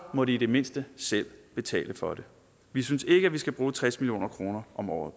må de i det mindste selv betale for det vi synes ikke man skal bruge tres million kroner om året